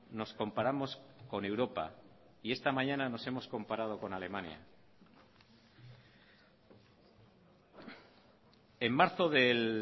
nos comparamos con europa y esta mañana nos hemos comparado con alemania en marzo del